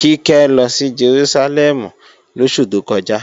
Kíkẹ́ lọ sí Jerúsálẹ́mù lóṣù tó kọjá